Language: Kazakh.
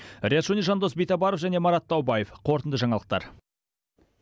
риат шони жандос битабаров және марат таубаев қорытынды жаңалықтар